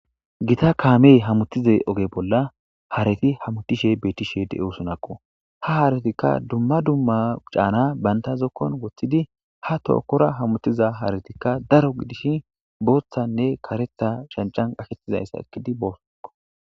Gita kaamey hamutize oge bolla hareti hamutishe bettishe de7osonakko ha haaratikka dumma dumma caana banta zokkon woththidi ha tookkora hamutiza haaratikka daro gidishi booththanne karetha shancan qaketizayssa ekidi boosonako.